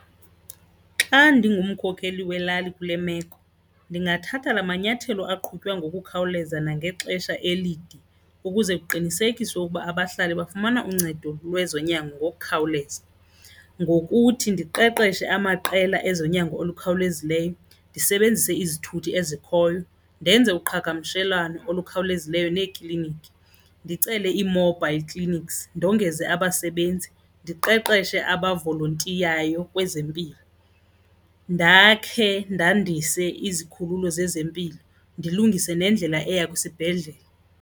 Xa ndingumkhokheli welali kule meko, ndingathatha la manyathelo aqhutywa ngokukhawuleza nangexesha elide ukuze kuqinisekiswe ukuba abahlali bafumana uncedo lwezonyango ngokukhawuleza ngokuthi ndiqeqeshe amaqela ezonyango olukhawulezileyo, ndisebenzise izithuthi ezikhoyo, ndenze uqhagamshelwano olukhawulezileyo neekliniki, ndicele ii-mobile clinics. Ndongeze abasebenzi, ndiqeqeshe abavolontiyayo kwezempilo, ndakhe ndandise izikhululo zezempilo, ndilungise nendlela eya kwisibhedlele.